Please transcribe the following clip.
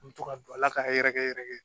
U bɛ to ka don a la k'a yɛrɛkɛ yɛrɛ